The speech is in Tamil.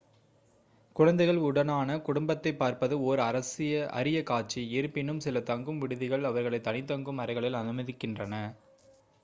குழந்தைகள் உடனான குடும்பத்தை பார்ப்பது ஓர் அரிய காட்சி இருப்பினும் சில தங்கும் விடுதிகள் அவர்களை தனி தங்கும் அறைகளில் அனுமதிக்கின்றன